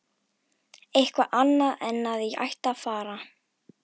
Eitthvað annað en að ég ætti að fara.